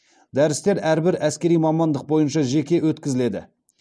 дәрістер әрбір әскери мамандық бойынша жеке өткізіледі